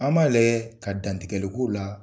An b'a lajɛ, ka dantigɛli k'o la,